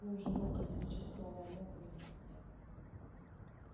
он уже мог различить слова мог но не хотел